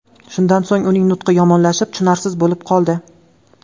Shundan so‘ng uning nutqi yomonlashib, tushunarsiz bo‘lib qoldi.